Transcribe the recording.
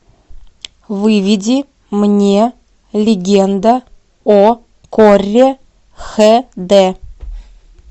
выведи мне легенда о корре х д